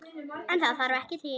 En það þarf ekki til.